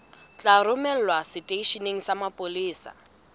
tla romelwa seteisheneng sa mapolesa